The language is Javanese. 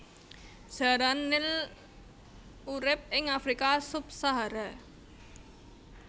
Jaran nil urip ing Afrika subsahara